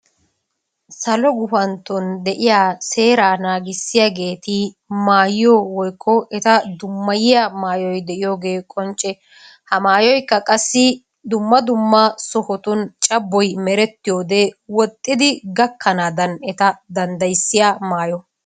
Salo gufantton de'iya seeraa naagissiyaageeti maayiyo woykko eta dummayiyya maayyoy de'iyogee qoncce. He maayyoyikka qassi dumma dumma sohotun cabboy merettiyode woxxidi gakkanaadan eta danddayissiya maayo.